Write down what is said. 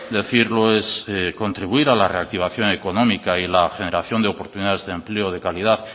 decirlo es contribuir a la reactivación económica y la generación de oportunidades de empleo de calidad